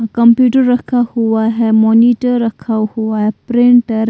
computer रखा हुआ है मॉनिटर रखा हुआ है प्रिंटर --